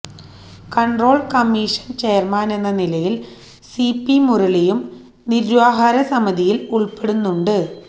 control commission ചെയര്മാനെന്ന നിലയില് C P മുരളിയും നിര്വാഹക സമിതിയില് ഉള്പ്പെടുന്നുണ്ട്